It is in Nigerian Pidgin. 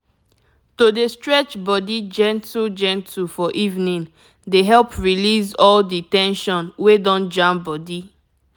to dey stretch body gentle-gentle for evening dey help release all the ten sion wey don jam body.